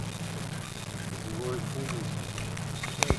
злой умысел